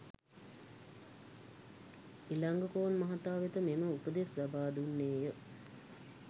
ඉලංගකෝන් මහතා වෙත මෙම උපදෙස් ලබා දුන්නේ ය